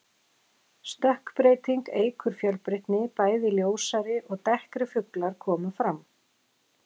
Stökkbreyting eykur fjölbreytni, bæði ljósari og dekkri fuglar koma fram.